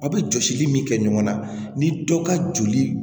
Aw bɛ jɔsili min kɛ ɲɔgɔn na ni dɔ ka joli